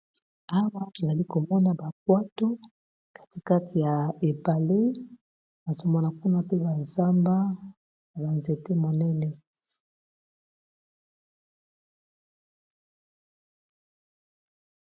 Awa tozali komona ba bwatu kati kati ya ebale nazomona kuna pe ba zamba ya ba nzete monene.